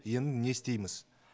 енді не істейміз